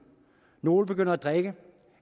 nogle begynder at drikke